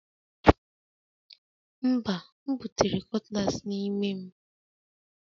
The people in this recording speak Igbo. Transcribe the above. Mba, m butere cutlass n'ime m